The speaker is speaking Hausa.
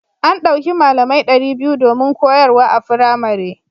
An ɗauki malamai ɗari biyu domin koyarwa a firamare.